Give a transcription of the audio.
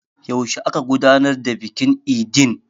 Yaushe aka gudanar da bikin idin?